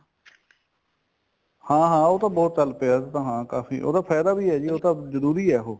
ਹਾਂ ਹਾਂ ਉਹ ਤਾਂ ਬਹੁਤ ਚੱਲ ਪਿਆ ਹਾਂ ਕਾਫੀ ਉਹਦਾ ਫਾਇਦਾ ਹੈ ਵੀ ਉਹ ਤਾਂ ਜਰੂਰੀ ਹੈ ਉਹ